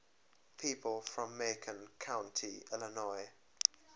people from macon county illinois